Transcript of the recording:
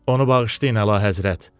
Onu bağışlayın, əlahəzrət.